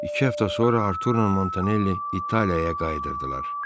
İki həftə sonra Arturla Montanelli İtaliyaya qayıdırdılar.